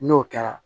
N'o kɛra